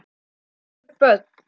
Fjögur börn.